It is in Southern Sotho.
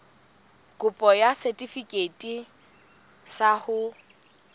kopo ya setefikeiti sa ho